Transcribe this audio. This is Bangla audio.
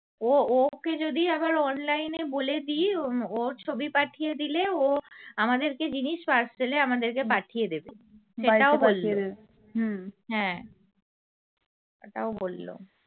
ও ওকে যদি আবার online নে বলে দি উম ওর ছবি পাঠিয়ে দিলে ও আমাদেরকে জিনিস parcel এ আমাদেরকে পাঠিয়ে দেবে হ্যাঁ সেটাও বললো